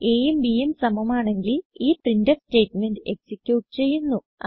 aയും bയും സമമാണെങ്കിൽ ഈ പ്രിന്റ്ഫ് സ്റ്റേറ്റ്മെന്റ് എക്സിക്യൂട്ട് ചെയ്യുന്നു